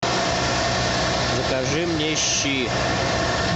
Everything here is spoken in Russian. закажи мне щи